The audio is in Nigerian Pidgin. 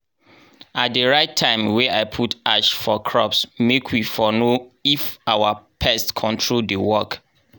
i dey write time wey i put ash for crops make wey for know if our pest control dey work.